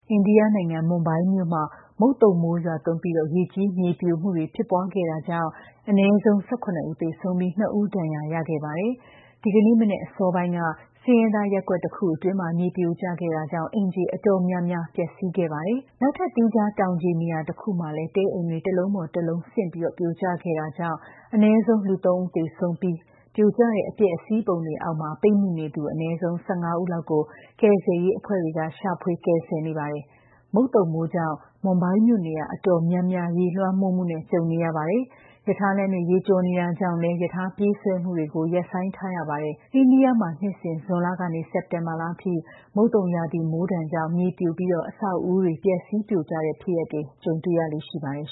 အိန္ဒိယနိုင်ငံ၊ မွမ်ဘိုင်းမြို့မှာလည်း မုတ်သုံမိုးရွာသွန်းပြီး ရေကြီး၊ မြေပြိုမှုတွေ ဖြစ်ပွားခဲ့တာကြောင့် အနည်းဆုံး ၁၇ ယောက် သေဆုံးပြီး ၂ ဦး ဒဏ်ရာရခဲ့ပါတယ်။ ဒီကနေ့မနက် အစောပိုင်းက ဆင်းရဲသားရပ်ကွက်တခုအတွင်း မြေပြိုကျခဲ့တာကြောင့် အိမ်ခြေအတော်များများ ပျက်စီးခဲ့တာပါ။ နောက်ထပ် သီးခြား တောင်ခြေနေရာတခုမှာလည်း တဲအိမ်တွေ တခုပေါ်တခုဆင့်ပြီး ပြိုကျခဲ့တာကြောင့် အနည်းဆုံး လူ ၃ ဦး သေဆုံးခဲ့ပြီး ပြိုကျတဲ့ အပျက်အစီးပုံတွေအောက် ပိတ်မိနေသူ အနည်းဆုံး ၁၅ ဦးလောက်ကို ကယ်ဆယ်ရေးအဖွဲ့တွေ ရှာဖွေကယ်ဆယ်နေပါတယ်။ မုတ်သုံမိုးကြောင့် မွမ်ဘိုင်းမြို့ နေရာအတော်များများ ရေလွှမ်းမိုးမှု ကြုံနေရတာပါ။ ရထားလမ်းတွေ ရေကျော်နေတာကြောင့်လည်း ရထားပြေးဆွဲမှုတွေကို ရပ်ဆိုင်းထားရပါတယ်။ အိန္ဒိယမှာ နှစ်စဉ် ဇွန်လက စက်တင်ဘာထိ မုတ်သုံရာသီမိုးဒဏ်ကြောင့် မြေပြိုပြီး အဆောက်အဦးတွေ ပျက်စီးပြိုကျတဲ့ ဖြစ်ရပ်တွေ ကြုံတွေ့ရလေ့ ရှိပါတယ်